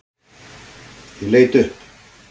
Ég leit upp.